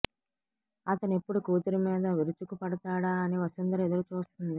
అతనెప్పుడు కూతురి మీద విరుచుకు పడతాడా అని వసుంధర ఎదురు చూస్తోంది